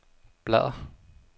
bladr